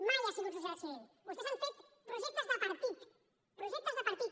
mai ha sigut societat civil vostès han fet projectes de partit projectes de partit